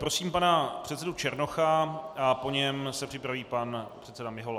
Prosím pana předsedu Černocha a po něm se připraví pan předseda Mihola.